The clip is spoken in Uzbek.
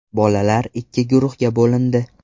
Bolalar ikki guruhga bo‘lindi.